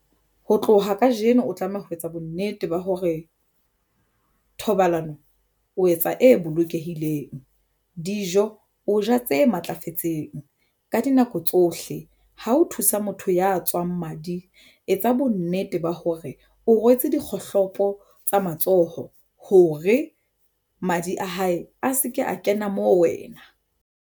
Ho tloha kajeno, o tlameha ho etsa bonnete ba hore thobalano o etsa e bolokehileng. Dijo o ja tse matlafetseng ka dinako tsohle ha o thusa motho ya tswang madi etsa bonnete ba hore o rwetse dikgohlopo tsa matsoho hore madi a hae a se ke a kena mo wena.